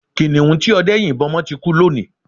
Kiniun tí ọdẹ́ yìnbọ́ mọ́ ti kú lónìí